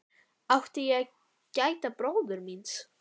Átti ég að gæta bróður míns?